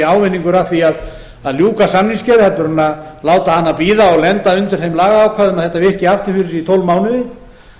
ávinningur að því að ljúka samningsgerð en að láta hana bíða og lenda undir þeim lagaákvæðum að þetta virki aftur fyrir sig í